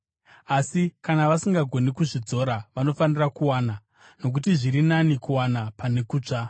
Asi kana vasingagoni kuzvidzora, vanofanira kuwana, nokuti zviri nani kuwana pane kutsva.